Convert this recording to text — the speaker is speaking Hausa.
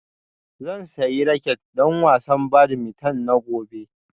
Zan sayi raket don wasan badminton na gobe